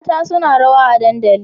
Mata suna rawa a dadandali